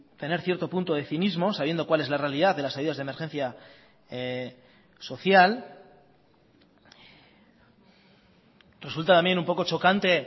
tener cierto punto de cinismo sabiendo cuál es la realidad de las ayudas de emergencia social resulta también un poco chocante